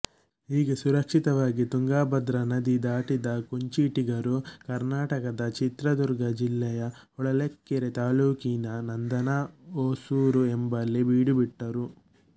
ಹೀಗೆ ಸುರಕ್ಷಿತವಾಗಿ ತುಂಗಭದ್ರಾ ನದಿ ದಾಟಿದ ಕುಂಚಿಟಿಗರು ಕರ್ನಾಟಕದ ಚಿತ್ರದುರ್ಗ ಜಿಲ್ಲೆಯ ಹೊಳಲ್ಕೆರೆ ತಾಲ್ಲೂಕಿನನಂದನ ಹೊಸೂರು ಎಂಬಲ್ಲಿ ಬೀಡು ಬಿಟ್ಟರು